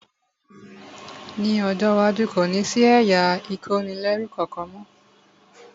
Ní ọjọ́ iwájú, kò ní sí ẹ̀yà ìkónilẹ́rú kankan mọ́